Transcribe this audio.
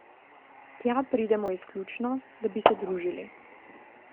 Tja pridemo izključno, da bi se družili.